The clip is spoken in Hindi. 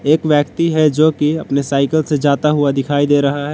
एक व्यक्ति है जो की अपने साइकिल से जाता हुआ दिखाई दे रहा है।